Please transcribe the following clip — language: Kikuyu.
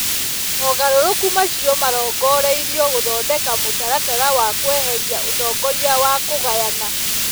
Mogarũrũku macio marongoreirio gũthondeka mũtaratara wa kweheria ũtongoria wa kũgayana.